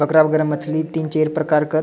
बगरा बगरा मछली तीन चार प्रकार कर --